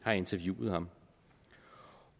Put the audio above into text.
har interviewet ham